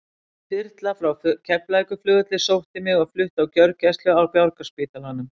Þyrla frá Keflavíkurflugvelli sótti mig og flutti á gjörgæslu á Borgarspítalanum.